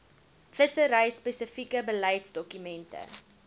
vissery spesifieke beleidsdokumente